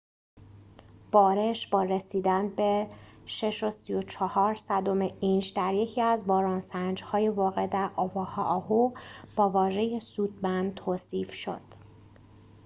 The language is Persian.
بارش با رسیدن به ۶.۳۴ اینچ در یکی از باران‌سنج‌های واقع در اوآهو با واژه سودمند توصیف شد